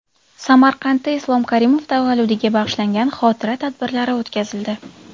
Samarqandda Islom Karimov tavalludiga bag‘ishlangan xotira tadbirlari o‘tkazildi .